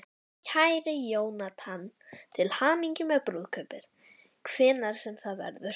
Kæri Jónatan, til hamingju með brúðkaupið, hvenær sem það verður.